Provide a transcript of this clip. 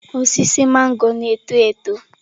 Osisi magoro na-eto eto.